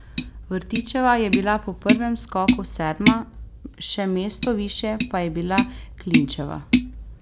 Vtičeva je bila po prvem skoku sedma, še mesto višje pa je bila Klinčeva.